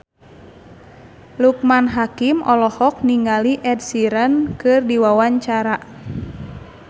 Loekman Hakim olohok ningali Ed Sheeran keur diwawancara